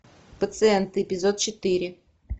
пациенты эпизод четыре